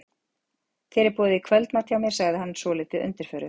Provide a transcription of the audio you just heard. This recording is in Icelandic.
Þér er boðið í kvöldmat hjá mér, sagði hann svolítið undirförull.